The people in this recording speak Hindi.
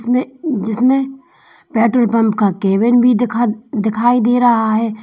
में जिसमें पेट्रोल पंप का केबिन भी दिखा दिखाई दे रहा है।